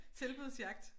Tilbudsjagt